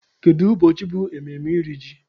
Kedu ụbọchị bụ mmemme iri ji?